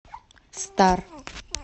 стар